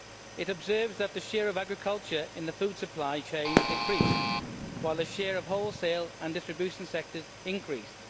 It observes that the share of agriculture in the food supply chain decreased, while the share of the wholesale and distribution sectors increased.